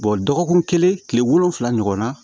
dɔgɔkun kelen kile wolonwula ɲɔgɔn na